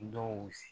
Dɔw